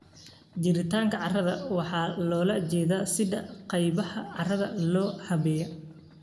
Jiritaanka carrada waxaa loola jeedaa sida qaybaha carrada loo habeeyey.